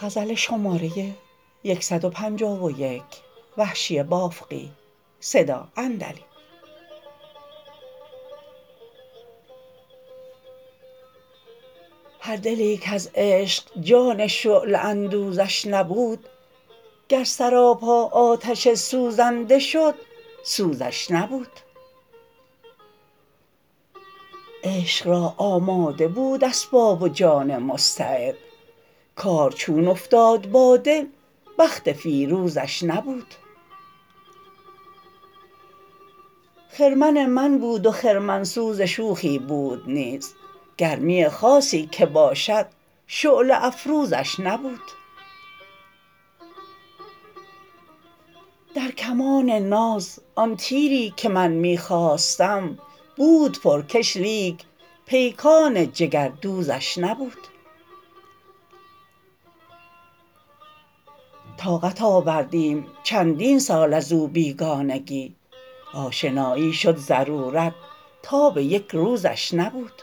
هر دلی کز عشق جان شعله اندوزش نبود گر سراپا آتش سوزنده شد سوزش نبود عشق را آماده بود اسباب و جان مستعد کار چون افتاد با دل بخت فیروزش نبود خرمن من بود و خرمن سوز شوخی بود نیز گرمی خاصی که باشد شعله افروزش نبود در کمان ناز آن تیری که من می خواستم بود پر کش لیک پیکان جگر دوزش نبود طاقت آوردیم چندین سال ازو بیگانگی آشنایی شد ضرورت تاب یک روزش نبود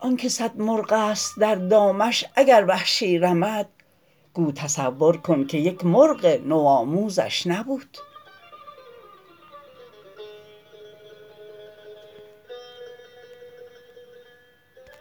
آنکه سد مرغ است در دامش اگر وحشی رمد گو تصور کن که یک مرغ نو آموزش نبود